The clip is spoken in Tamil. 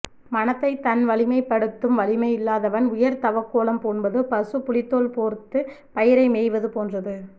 மனத்தை தன் வழிப்படுத்தும் வலிமை இல்லாதவன் உயர் தவக்கோலம் பூண்பது பசு புலித்தோல் போர்த்து பயிரை மேய்வது போன்றது